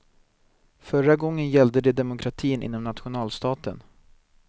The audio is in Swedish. Förra gången gällde det demokratin inom nationalstaten.